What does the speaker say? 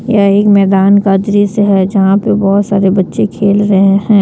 यह एक मैदान का दृश्य है यहां पे बहुत सारे बच्चे खेल रहे हैं।